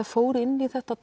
fór inn í þetta